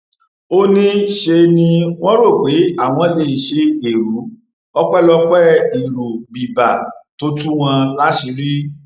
ó ní ṣe ni wọn rò pé àwọn lè ṣe ẹrú ọpẹlọpẹ èrò biber tó tú wọn láṣìírí